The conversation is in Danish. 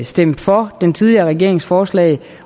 stemt for den tidligere regerings forslag